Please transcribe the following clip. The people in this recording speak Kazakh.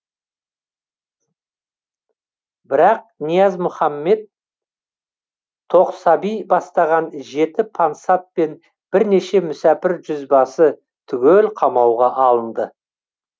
бірақ ниязмұхаммед тоқсаби бастаған жеті пансат пен бірнеше мүсәпір жүзбасы түгел қамауға алынды